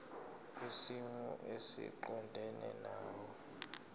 kwisimo esiqondena nawe